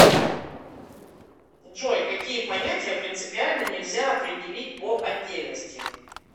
джой какие понятия принципиально нельзя определить по отдельности